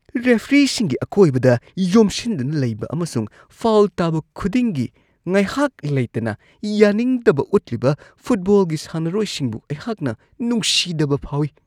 ꯔꯦꯐ꯭ꯔꯤꯁꯤꯡꯒꯤ ꯑꯀꯣꯏꯕꯗ ꯌꯣꯝꯁꯤꯟꯗꯨꯅ ꯂꯩꯕ ꯑꯃꯁꯨꯡ ꯐꯥꯎꯜ ꯇꯥꯕ ꯈꯨꯗꯤꯡꯒꯤ ꯉꯥꯏꯍꯥꯛ ꯂꯩꯇꯅ ꯌꯥꯅꯤꯡꯗꯕ ꯎꯠꯂꯤꯕ ꯐꯨꯠꯕꯣꯜꯒꯤ ꯁꯥꯟꯅꯔꯣꯏꯁꯤꯡꯕꯨ ꯑꯩꯍꯥꯛꯅ ꯅꯨꯡꯁꯤꯗꯕ ꯐꯥꯎꯏ ꯫